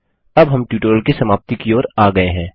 अब हम ट्यूटोरियल की समाप्ति की ओर आ गए हैं